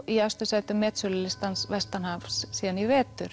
í efstu sætum metsölulistans vestanhafs síðan í vetur